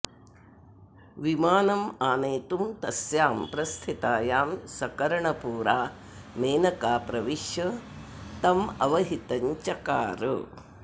विमानमानेतुं तस्यां प्रस्थितायां सकर्णपूरा मेनका प्रविश्य तमवहितं चकार